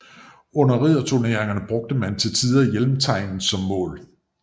Under ridderturneringer brugte man til tider hjelmtegnet som mål